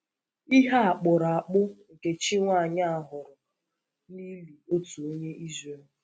Ihe a kpụrụ akpụ nke Chí nwanyị a hụrụ n’ìlì otu onye Ìzrèl.